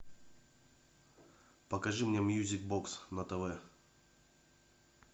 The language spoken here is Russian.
покажи мне мьюзик бокс на тв